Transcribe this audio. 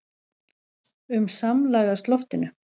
um samlagast loftinu.